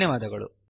ಧನ್ಯವಾದಗಳು